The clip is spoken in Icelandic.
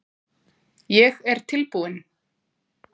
Er ég tilbúinn?